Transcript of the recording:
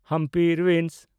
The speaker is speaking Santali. ᱦᱟᱢᱯᱤ ᱨᱩᱭᱤᱱᱥ